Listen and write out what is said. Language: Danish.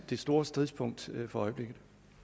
det store stridspunkt for øjeblikket